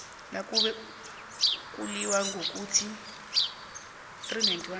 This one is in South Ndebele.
nakube kulilwa ngokuthi